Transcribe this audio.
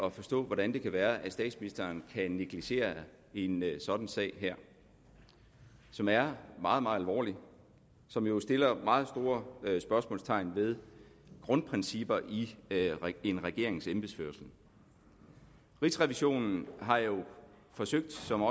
at forstå hvordan det kan være at statsministeren kan negligere en sådan sag her som er meget meget alvorlig og som jo sætter meget store spørgsmålstegn ved grundprincipperne i en regerings embedsførelse rigsrevisionen har jo forsøgt som